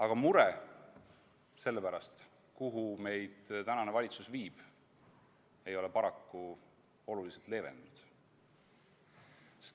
Aga mure selle pärast, kuhu tänane valitsus meid viib, ei ole paraku oluliselt leevenenud.